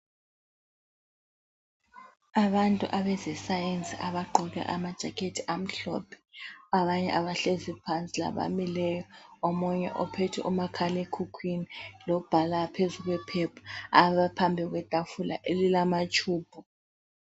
Abantu abezesayensi abagqoke ama jacket amhlophe, abanye abahlezi phansi labamileyo. Omunye ophethe umakhalekhukhwini lobhala phezu kwephepha abaphambi kwetafula elilamatshubhu.